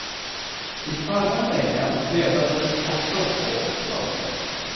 I förra veckan dödades också två soldater.